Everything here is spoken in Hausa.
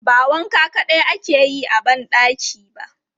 Ba wanka kaɗai ake yi a ban ɗaki ba.